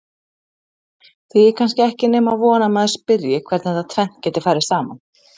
Því er kannski ekki nema von að maður spyrji hvernig þetta tvennt geti farið saman?